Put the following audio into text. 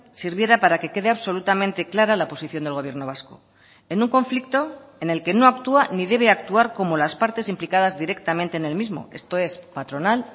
sirviera para que quede absolutamente clara la posición del gobierno vasco en un conflicto en el que no actúa ni debe actuar como las partes implicadas directamente en el mismo esto es patronal